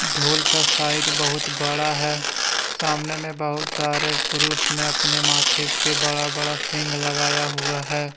ढोल का साइज बहुत बड़ा है सामने में बहुत सारे पुरुष ने अपने माथे पे बड़ा-बड़ा सिंघ लगाया हुआ है।